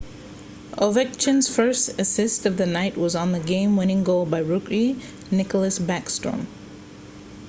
ovechkin's first assist of the night was on the game-winning goal by rookie nicklas backstrom